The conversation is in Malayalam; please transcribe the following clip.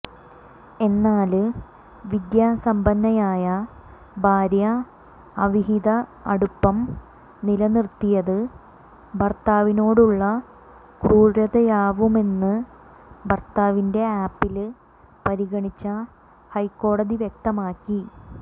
എന്നാല് വിദ്യാസമ്പന്നയായ ഭാര്യ അവിഹിതഅടുപ്പം നിലനിര്ത്തിയത് ഭര്ത്താവിനോടുള്ള ക്രൂരതയാവുമെന്ന് ഭര്ത്താവിന്റെ അപ്പീല് പരിഗണിച്ച ഹൈക്കോടതി വ്യക്തമാക്കി